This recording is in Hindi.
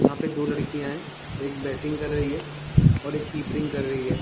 जहाँ पे दो लड़कियां हैं एक बैटिंग कर रही हैं और एक कीपरिंग कर रही हैं।